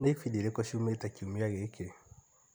Nĩ ĩbindi irĩkũ ciumĩte kiumia gĩkĩ ?